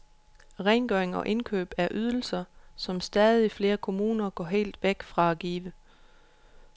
Rengøring og indkøb er ydelser, som stadig flere kommuner går helt væk fra at give.